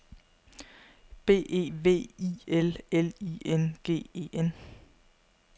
B E V I L L I N G E N